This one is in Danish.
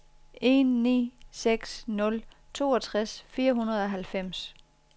en ni seks nul toogtres fire hundrede og halvfems